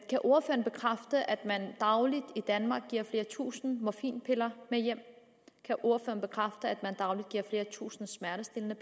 kan ordføreren bekræfte at man dagligt i danmark giver flere tusind morfinpiller med hjem kan ordføreren bekræfte at man dagligt giver flere tusind smertestillende